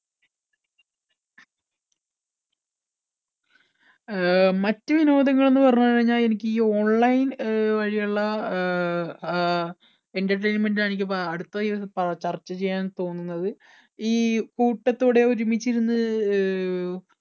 അഹ് മറ്റു വിനോദങ്ങൾ എന്ന് പറഞ്ഞു കഴിഞ്ഞാൽ എനിക്ക് ഈ online വഴിയുള്ള അഹ് entertainment ആണ് അടുത്ത എനിക്ക് ചർച്ച ചെയ്യാൻ തോന്നുന്നത് ഈ കൂട്ടത്തോടെ ഒരുമിച്ചിരുന്ന് അഹ്